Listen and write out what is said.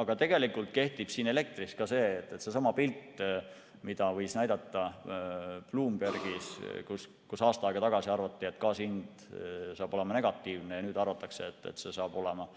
Aga tegelikult kehtib ka elektri puhul see, mida võis näha Bloombergis, kus aasta aega tagasi arvati, et gaasi hind hakkab olema negatiivne, ja nüüd arvatakse, et see hakkab olema